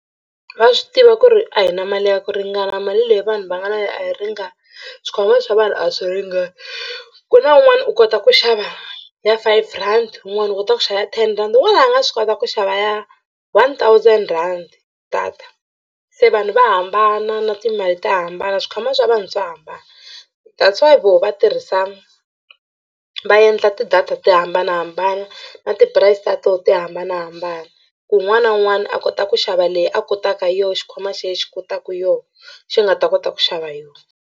Va swi tiva ku ri a hi na mali ya ku ringana mali leyi vanhu va nga na yona a yi ringani swikhwama swa vanhu a swi ringani. Ku na un'wana u kota ku xava ya five rand wun'wani u kota ku xava ten rhandi wun'wani a nga swi kota ku xava ya one thousand rand data se vanhu va hambana na timali ta hambana swikhwama swa vanhu swa hambana that's why voho va tirhisa va endla ti-data to hambanahambana na ti-price ta toho ti hambanahambana ku un'wana na un'wana a kota ku xava leyi a kotaka yona xikhwama xa yehe xi kotaka yo xi nga ta kota ku xava hi yona.